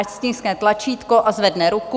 Ať stiskne tlačítko a zvedne ruku.